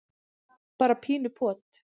bara pínu pot.